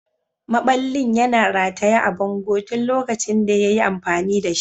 Maɓallin yana rataye a bango tun lokacin da ya yi amfani da shi.